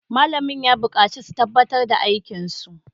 Malamin ya bukaci su gabatar da aikin su!